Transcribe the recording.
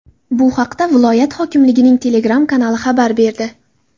Bu haqda viloyat hokimligining Telegram-kanali xabar berdi .